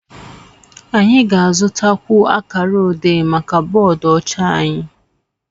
anyị ga-azụtakwu akara odé maka bọọdụ ọcha anyị